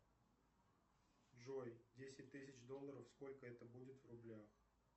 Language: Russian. джой десять тысяч долларов сколько это будет в рублях